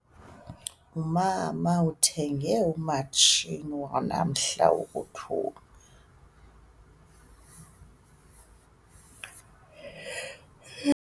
Umama uthenge umatshini wanamhla wokuthunga.